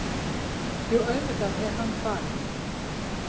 Jú, auðvitað er hann farinn.